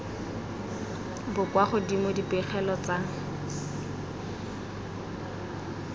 bo kwa godimo dipegelo tsa